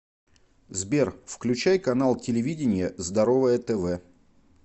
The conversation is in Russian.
сбер включай канал телевидения здоровое тв